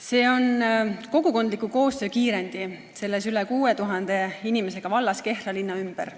See on kogukondliku koostöö kiirendi selles üle 6000 inimesega vallas Kehra linna ümber.